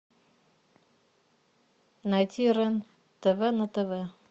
найти рен тв на тв